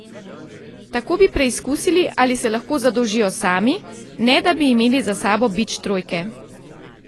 Tako bi preizkusili, ali se lahko zadolžijo sami, ne da bi imeli za sabo bič trojke.